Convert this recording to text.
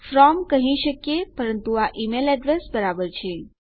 from કહી શકીએ પરંતુ આ ઈમેલ એડ્રેસ બરાબર છે